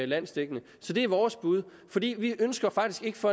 landsdækkende så det er vores bud vi ønsker faktisk ikke for